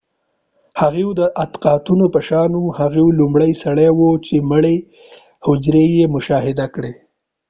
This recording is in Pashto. هفوۍ د اطاقونو په شان و هغه لومړنی سړی و چې مړې حجرې یې مشاهده کړې